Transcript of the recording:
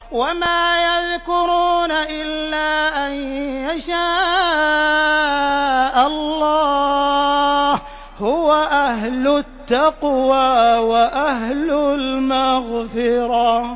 وَمَا يَذْكُرُونَ إِلَّا أَن يَشَاءَ اللَّهُ ۚ هُوَ أَهْلُ التَّقْوَىٰ وَأَهْلُ الْمَغْفِرَةِ